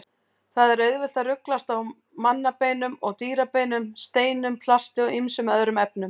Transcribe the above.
Það er auðvelt að ruglast á mannabeinum og dýrabeinum, steinum, plasti og ýmsum öðrum efnum.